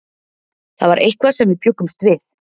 Það var eitthvað sem við bjuggumst við.